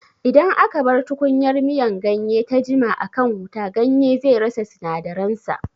Idan aka bar tukunyar miyan ganye ta jima a kan wuta, ganye zai rasa sinadaran sa